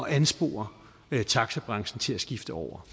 at anspore taxabranchen til at skifte over